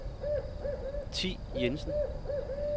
Thi Jensen